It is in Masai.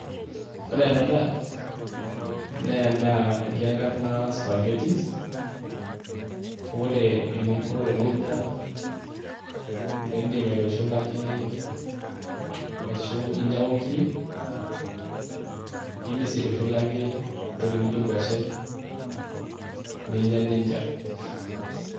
Ore enaa daa, naa eda naji enkarna spaghettis. Ore eninko teninya , idim aitushulaki aishu inyang'u nkirik, idim sii aitushulaki entoki naijo nkuashen ninya neija.